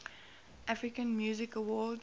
american music awards